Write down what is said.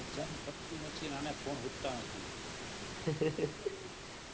Exam પટતી નથી. ને આને ફોન હુજ્જત નથી.